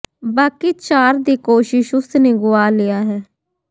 ਬਾਕੀ ਚਾਰ ਦੀ ਕੋਸ਼ਿਸ਼ ਉਸ ਨੇ ਗੁਆ ਲਿਆ ਹੈ